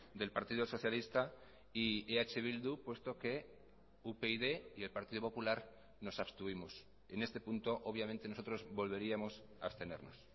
del partido socialista y eh bildu puesto que upyd y el partido popular nos abstuvimos en este punto obviamente nosotros volveríamos a abstenernos